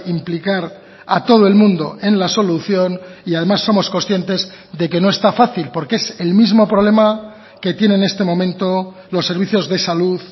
implicar a todo el mundo en la solución y además somos conscientes de que no está fácil porque es el mismo problema que tiene en este momento los servicios de salud